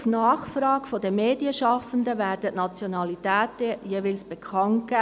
Auch auf Nachfrage der Medienschaffenden werden die Nationalitäten jeweils bekannt gegeben.